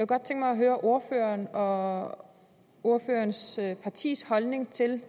godt tænke mig at høre ordførerens og ordførerens partis holdning til